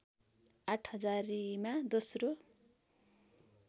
आठ हजारीमा दोश्रो